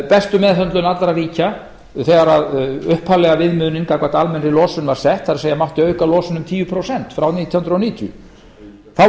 bestu meðhöndlun allra ríkja þegar upphaflega viðmiðunin gagnvart almennri losun var sett sem sé mátti auka losun um tíu prósent frá nítján hundruð níutíu þá